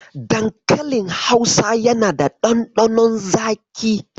Dankalin Hausa yana da ɗanɗanon zaƙi.